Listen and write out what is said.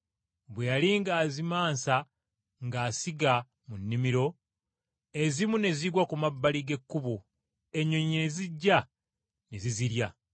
Bwe yali ng’azimansa ng’asiga mu nnimiro, ezimu ne zigwa ku mabbali g’ekkubo ennyonyi ne zijja ne zizirya.